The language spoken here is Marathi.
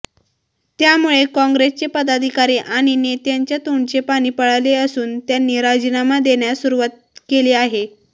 त्यामुळे कॉंग्रेसचे पदाधिकारी आणि नेत्यांच्या तोंडचे पाणी पळाले असून त्यांनी राजीनामा देण्यास सुरुवात केली आहे